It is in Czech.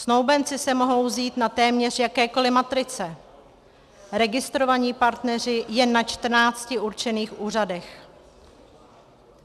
Snoubenci se mohou vzít na téměř jakékoli matrice, registrovaní partneři jen na 14 určených úřadech.